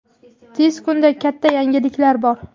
Tez kunda katta yangiliklar bor.